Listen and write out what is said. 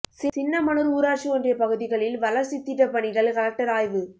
சின்னமனூர் ஊராட்சி ஒன்றியப்பகுதிகளில் வளர்ச்சித்திட்டப்பணிகள் கலெக்டர் ஆய்வு